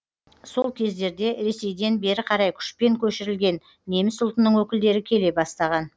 сол кездерде ресейден бері қарай күшпен көшірілген неміс ұлтының өкілдері келе бастаған